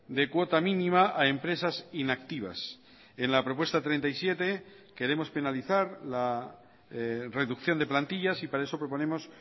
de cuota mínima a empresas inactivas en la propuesta treinta y siete queremos penalizar la reducción de plantillas y para eso proponemos